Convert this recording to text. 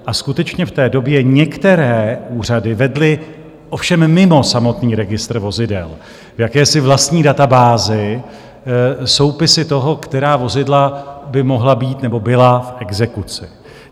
A skutečně v té době některé úřady vedly, ovšem mimo samotný registr vozidel, v jakési vlastní databázi, soupisy toho, která vozidla by mohla být nebo byla v exekuci.